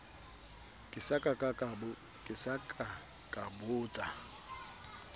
ke sa ka ka botsa